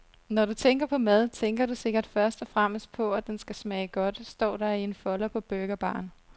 Når du tænker på mad, tænker du sikkert først og fremmest på, at den skal smage godt, står der i en folder på burgerbaren.